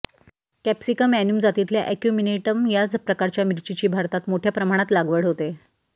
capsicum annuum जातीतल्या acuminatum या प्रकारच्या मिरचीची भारतात मोठय़ा प्रमाणात लागवड होते